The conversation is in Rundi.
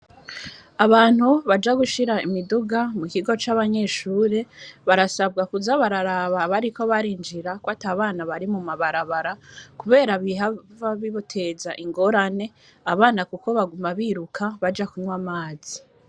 Abantu baja gushira imiduga mu kigo c'abanyeshuri barasabwa kuza bararaba bariko barinjira ko atabana bari mu mabarabara kubera bihava bibateza ingorane abana kuko baguma biruka baja kunwa amazi.